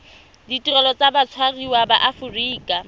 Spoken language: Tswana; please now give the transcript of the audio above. ditirelo tsa batshwariwa ba aforika